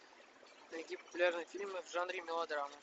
найди популярные фильмы в жанре мелодрама